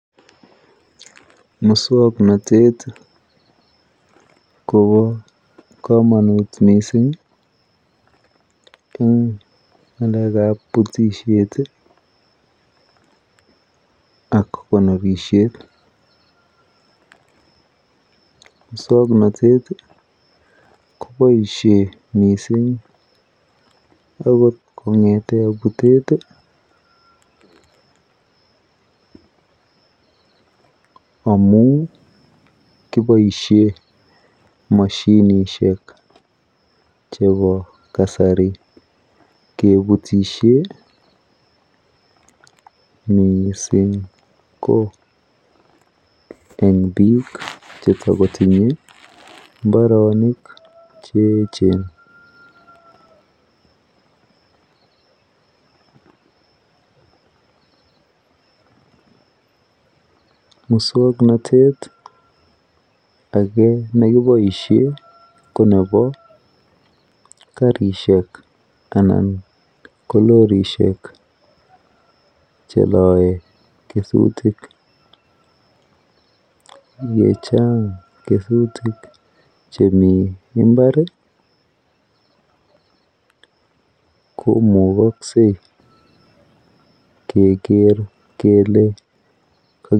Muswoknatet kopa komanut mising' eng ng'alek ab putisiet ak konorisiet, muswoknatet kopaishe mising' akot kong'ete putet amun kipoishe mashinishiek chepo kasari keputishe mising' ko eng' piik chetikotinye imbarenik che echen muswoknatet age nekipoishe ko nepo karisiek anan ko lorishek cheloe kesutik yechang' kesutik chemii imbar komagksei keger kele.